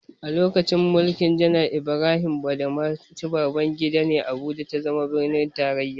A lokacin mulkin janar Ibrahim Badamasi Babangida ne, Abuja ta zama birnin tarraya.